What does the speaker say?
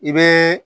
I bɛ